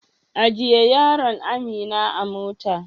Ajiye yaron Amira a mota.